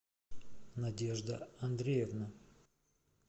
надежда андреевна